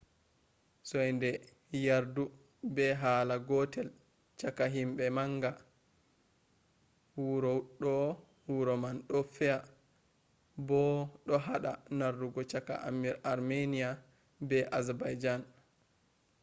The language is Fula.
soinde yardu be hala gotel chaka him manga wuro do wuro man do fea bo do hada narrugo chaka armenia be azerbaijan